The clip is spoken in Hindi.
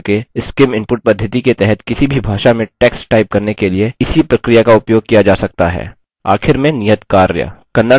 libreoffice writer का उपयोग करके scim input पद्धति के तहत किसी भी भाषा में text type करने के लिए इसी प्रक्रिया का उपयोग किया जा सकता है